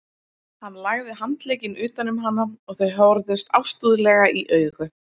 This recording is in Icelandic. Hann lagði handlegginn utan um hana og þau horfðust ástúðlega í augu.